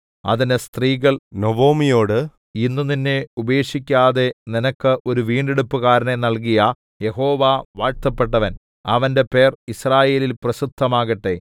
അതിന് സ്ത്രീകൾ നൊവൊമിയോട് ഇന്ന് നിന്നെ ഉപേക്ഷിക്കാതെ നിനക്ക് ഒരു വീണ്ടെടുപ്പുകാരനെ നൽകിയ യഹോവ വാഴ്ത്തപ്പെട്ടവൻ അവന്റെ പേർ യിസ്രായേലിൽ പ്രസിദ്ധമാകട്ടെ